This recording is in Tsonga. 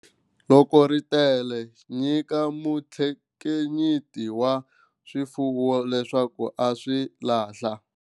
Loko ri tele, nyika muthekiniki wa swifuwo leswaku a swi lahla.